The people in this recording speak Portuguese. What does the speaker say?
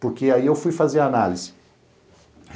Porque aí eu fui fazer análise.